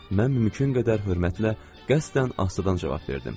Mən mümkün qədər hörmətlə qəsdən asdatan cavab verdim.